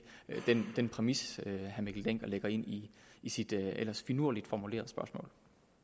den præmis herre mikkel dencker lægger ind i i sit ellers finurligt formulerede spørgsmål